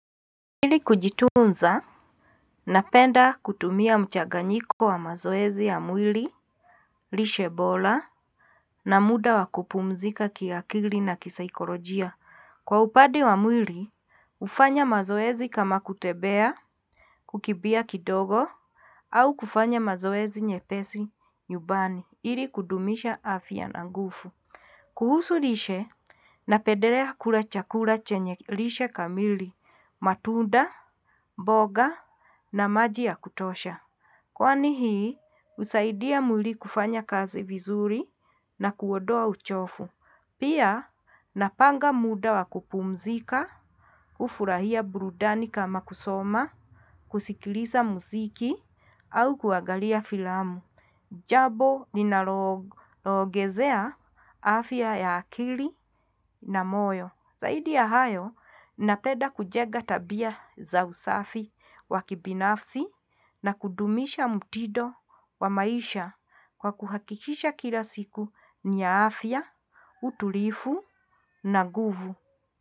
Ili kujitunza napenda kutumia mchanganyiko wa mazoezi ya mwili lishe bora na muda wa kupumzika kiakili na kisaikolojia. Kwa upande wa mwili, hufanya mazoezi kama kutembea, kukimbia kidogo, au kufanya mazoezi nyepesi nyumbani, ili kudumisha afya na nguvu. Kuhusu lishe napendelea kula chakula chenye lishe kamili, matunda, mboga na maji ya kutosha. Kwani hii, husaidia mwili kufanya kazi vizuri na kuondoa uchovu. Pia, napanga muda wa kupumzika, hufurahia burudani kama kusoma, kusikiliza muziki, au kuangalia filamu. Jambo ninaloongezea afya ya akili na moyo. Zaidi ya hayo, ninapenda kujenga tabia za usafi wa kibinafsi na kudumisha mtindo wa maisha kwa kuhakikisha kila siku ni ya afya, utulivu na nguvu.